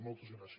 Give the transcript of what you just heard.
moltes gràcies